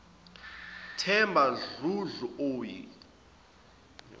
themba dludlu oyi